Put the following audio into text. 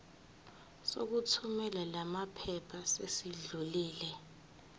sokuthumela lamaphepha sesidlulile